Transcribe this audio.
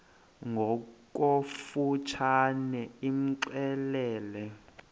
ngokofu tshane imxelele